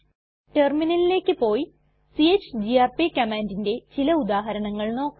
ടെർമിനലിലേക്ക് പോയി ചിഗിആർപി കമാൻഡിന്റെ ചില ഉദാഹരണങ്ങൾ നോക്കാം